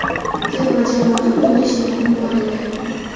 Terma jamoada o‘ynash niyatim bor edi.